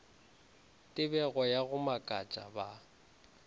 tebego ya go makatša ba